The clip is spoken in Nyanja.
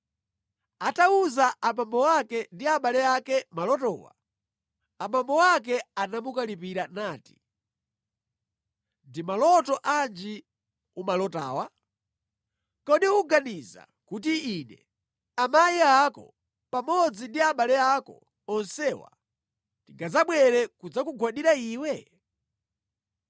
Atawuza abambo ake ndi abale ake malotowa, abambo ake anamukalipira nati, “Ndi maloto anji umalotawa? Kodi uganiza kuti ine, amayi ako pamodzi ndi abale ako onsewa tingadzabwere kudzakugwandira iwe?”